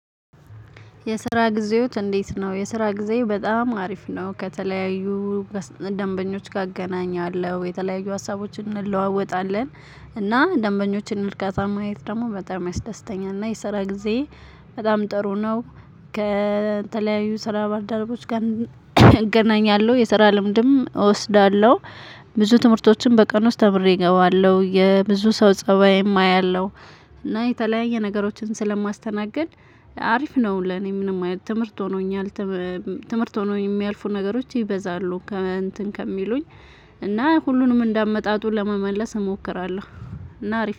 የስራ ጊዜዎች እንዴት? ነው የስራ ጊዜ በጣም አሪፍ ነው ከተለያዩ ደንበኞች ካገናኛለሁ የተለያዩ ሀሳቦችን እንለዋወጣለን እና ደንበኞችን እርካታ ማየት ደግሞ በጣም ያስደስተኛል። እና የሰራ ጊዜ በጣም ጥሩ ነው። ከተለያዩ ስራ ባልደረቦች ጋር እገናኛለሁ የሰራ ልምድም እወስዳለሁ። ብዙ ትምህርቶችም በቀን ውስጥ ተምሬ እገባለሁ የብዙ ሰው ፀባይም አያለው። እና የተለያየ ነገሮችን ስለማስተናግድ አሪፍ ነው ለኔ ምንም ትምህርት ሆኖኛል። ትምህርት ሆኖ የሚያልፉ ነገሮች ይበዛሉ። ከሚሉኝ እና ሁሉንም እንደ አመጣጡን ለመመለስ እሞክራለሁ። እና አሪፍ